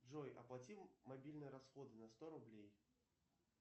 джой оплати мобильные расходы на сто рублей